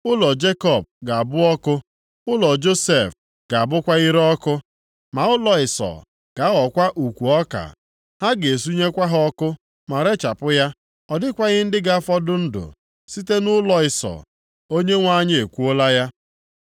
Ụlọ Jekọb ga-abụ ọkụ, ụlọ Josef ga-abụkwa ire ọkụ: ma ụlọ Ịsọ ga-aghọkwa ukwu ọka. Ha ga-esunyekwa ha ọkụ ma rechapụ ya. Ọ dịkwaghị ndị ga-afọdụ ndụ site nʼụlọ Ịsọ.” Onyenwe anyị ekwuola ya.